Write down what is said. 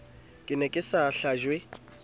ke ne ke sa hlajwe